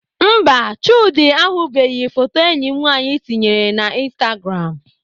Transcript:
Mba, Chude ahụbeghị foto enyi m nwaanyị tinyere na instagram